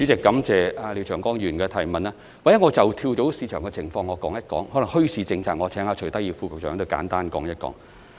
或者我說一說跳蚤市場的情況，而墟市政策方面，則請徐德義副局長簡單答覆。